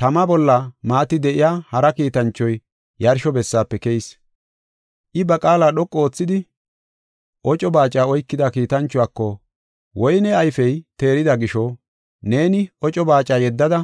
Tama bolla maati de7iya hara kiitanchoy yarsho bessaafe keyis. I ba qaala dhoqu oothidi oco baaca oykida kiitanchuwako, “Woyne ayfey teerida gisho neeni oco baaca yeddada,